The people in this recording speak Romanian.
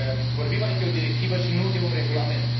Vorbim aici de o directivă, și nu de un regulament.